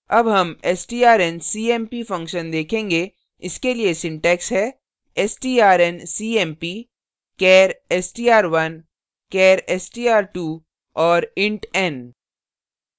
अब हम strncmp function देखेंगे इसके लिए syntax है strncmp char str1 char str2 और int n